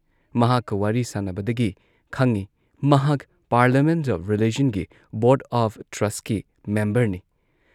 ꯃꯍꯥꯛꯀ ꯋꯥꯔꯤ ꯁꯥꯟꯅꯕꯗꯒꯤ ꯈꯪꯏ ꯃꯍꯥꯛ ꯄꯥꯔꯂꯤꯌꯥꯃꯦꯟꯠ ꯑꯣꯐ ꯔꯤꯂꯤꯖꯟꯒꯤ ꯕꯣꯔꯗ ꯑꯣꯐ ꯇ꯭ꯔꯁꯠꯀꯤ ꯃꯦꯝꯕꯔꯅꯤ ꯫